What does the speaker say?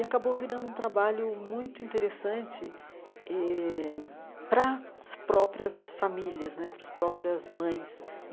E acabou virando um trabalho muito interessante eh para as próprias famílias né, para as próprias mães.